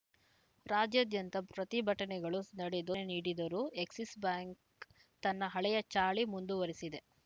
ರಾಜ್ಯಾದ್ಯಂತ ಪ್ರತಿಭಟನೆಗಳು ನಡೆದು ಸ್ ನೀಡಿದರೂ ಎಕ್ಸಿಸ್‌ ಬ್ಯಾಂಕ್‌ ತನ್ನ ಹಳೆಯ ಚಾಳಿ ಮುಂದುವರಿಸಿದೆ